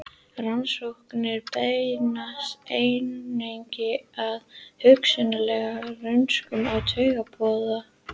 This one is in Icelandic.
Rannsóknir beinast einnig að hugsanlegum röskunum á taugaboðefnum.